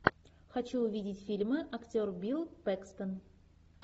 хочу увидеть фильмы актер билл пэкстон